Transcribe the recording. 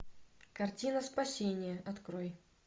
картина спасение открой